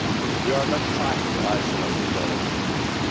We are not trying to isolate the Belarusian people.